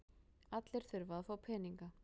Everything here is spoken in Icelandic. Allir þurfa að fá peninga.